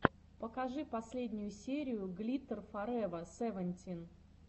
покажи последнюю серию глиттер форева севентин